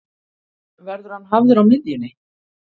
Verður hann hafður á miðjunni?